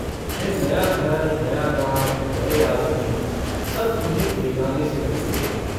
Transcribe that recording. यह नया घर नया गाँव नये आदमी, सब उन्हें बेगाने-से लगते थे।